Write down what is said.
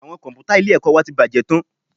Àwọn Kọ̀m̀pútà ilé-ẹ̀kọ́ wa ti bàjẹ́ tán